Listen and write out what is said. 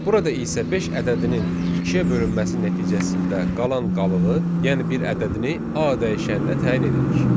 Burada isə beş ədədinin ikiyə bölünməsi nəticəsində qalan qalığı, yəni bir ədədini A dəyişəninə təyin edirik.